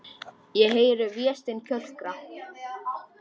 Ég heyri Véstein kjökra.